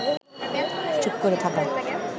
চুপ করে থাকা